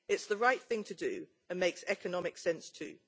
it is the right thing to do and makes economic sense, too.